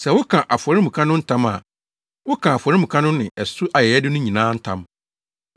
Sɛ woka afɔremuka no ntam a, woka afɔremuka no ne ɛso ayɛyɛde no nyinaa ntam,